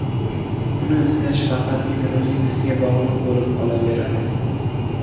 Uni izlash faqatgina o‘zingizga bog‘liq bo‘lib qolaveradi.